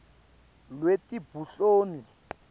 lwetebunhloli